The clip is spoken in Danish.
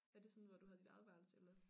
Er det sådan hvor du havde dit eget værelse eller